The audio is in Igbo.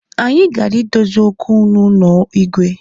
Anyi gara idozi okwu n’ụnọ Igwe